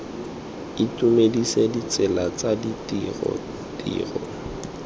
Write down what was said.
itumedisa ditsela tsa ditiro tiro